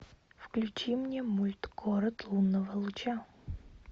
включи мне мульт город лунного луча